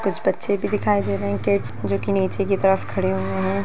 कुछ बच्चे भी दिखाई दे रहे हैं किड्स जो की नीचे की तरफ खड़े हुए हैं।